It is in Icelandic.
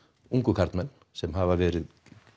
ungu karlmenn sem hafa verið